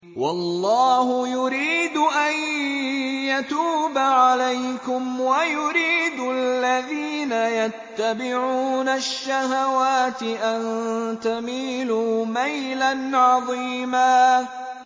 وَاللَّهُ يُرِيدُ أَن يَتُوبَ عَلَيْكُمْ وَيُرِيدُ الَّذِينَ يَتَّبِعُونَ الشَّهَوَاتِ أَن تَمِيلُوا مَيْلًا عَظِيمًا